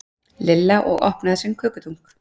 Lilla og opnaði sinn kökudunk.